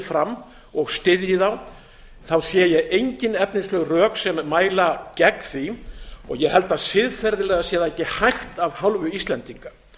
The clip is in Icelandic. fram og styðji þá sé ég engin efnisleg rök sem mæla gegn því og ég held að siðferðilega sé það ekki hægt af hálfu íslendinga